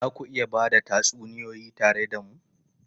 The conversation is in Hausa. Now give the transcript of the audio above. Za ku iya ba da wasu tatsuniyoyi tare da mu?